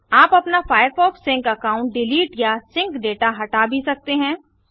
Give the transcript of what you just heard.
आप अपना Firefox sync account delete या सिंक दाता हटा भी सकते हैं